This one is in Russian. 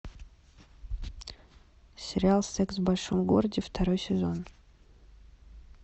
сериал секс в большом городе второй сезон